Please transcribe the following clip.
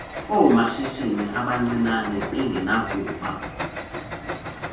oosomashishini abancinane bengenakuba